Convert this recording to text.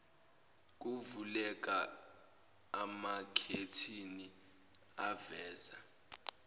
kuvuleka amakhethini aveza